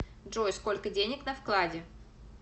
джой сколько денег на вкладе